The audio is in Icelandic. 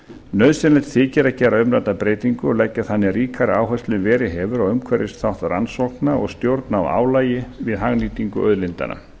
nauðsynlegt þykir að gera umrædda breytingu og leggja þannig ríkari áherslu en verið hefur á umhverfisþátt rannsókna og stjórn á álagi við hagnýtingu auðlindanna